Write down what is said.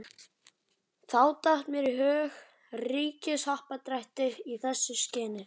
Og þá datt mér í hug ríkishappdrætti í þessu skyni.